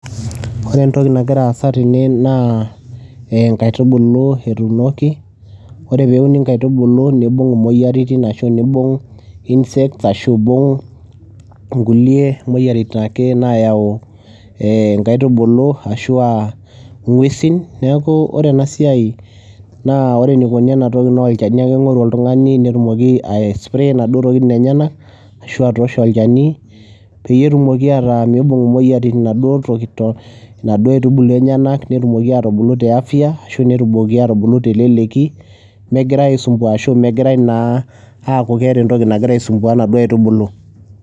Kore entoki nagira aasa tene naa ee inkaitubulu etuunoki, ore peuni inkaitubulu nibung' imoyiaritin ashu niibung' insects ashu iibung' nkulie moyiaritin ake naayau ee inkaitubulu ashu aa ing'uesin. Neeku ore ena siai naa ore enikoni ena toki naa olchani ake ing'oru oltung'ani netumoki aispray inaduo tokitin enyenak ashu atoosho olchani peyie etumoki ataa miibung' imoyiaritin inaduo toki to inaduo aitubulu enyenak netumoki aatubulu te afya ashu netumoki aatubulu teleleki megirai aisumbua ashu megirai naa aaku keeta entoki nagira aisumbua inaduo aitubulu.